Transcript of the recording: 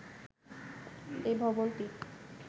এই ভবনটি